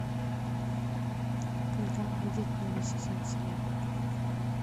когда выйдет новый сезон сериал